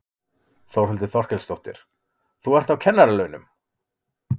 Þórhildur Þorkelsdóttir: Þú ert á kennaralaunum?